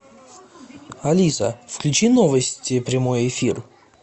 алиса включи новости прямой эфир